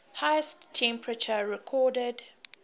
highest temperature recorded